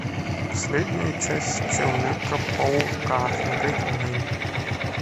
последняя часть человека паука смотреть онлайн